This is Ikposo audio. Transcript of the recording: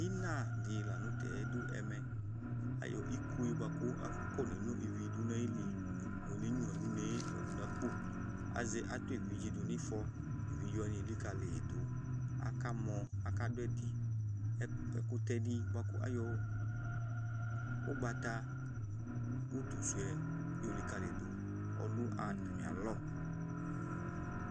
ina di lantɛ do ɛmɛ ayɔ ikoe boa kò akɔne no ivi do n'ayili yɔ one nyua n'une ɔdò n'akpo azɛ adu evidze do n'ifɔ evidze wani elikali yi do aka mɔ aka do ɛdi ɛkutɛ di boa kò ayɔ ugbata utu suɛ yɔ likali yi do ɔdò atami alɔ